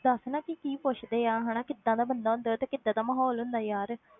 ਦੱਸ ਨਾ ਕਿ ਕੀ ਪੁੱਛਦੇ ਆ ਹਨਾ, ਕਿੱਦਾਂ ਦਾ ਬੰਦਾ ਹੁੰਦਾ ਹੈ, ਤੇ ਕਿੱਦਾਂ ਦਾ ਮਾਹੌਲ ਹੁੰਦਾ ਯਾਰ।